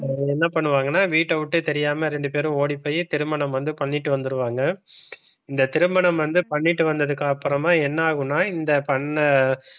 என்ன பண்ணுவாங்கன்னா வீட்டை விட்டு தெரியாம இரண்டு பேரும் ஓடிப்போய் திருமணம் வந்து பண்ணிட்டு வந்துருவாங்க. இந்த திருமணம் வந்து பண்ணிட்டு வந்ததுக்கு அப்புறம என்ன ஆகும்னா இந்த பண்ண,